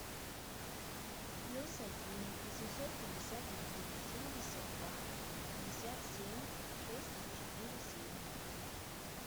плюс один восемьсот пятьдесят один семьдесят два пятьдесят семь шесть четыре семь